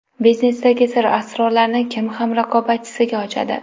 Biznesdagi sir-asrorlarni kim ham raqobatchisiga ochadi?